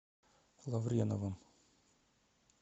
лавреновым